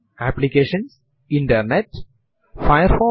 നിങ്ങൾക്കു ലഭിക്കുന്ന ഔട്പുട്ട് അനുസരിച്ച് ഇതിനെ താരതമ്യം ചെയ്യുക